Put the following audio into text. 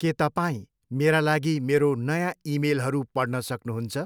के तपाईँ मेरा लागि मेरो नयाँ इमेलहरू पढ्न सक्नुहुन्छ?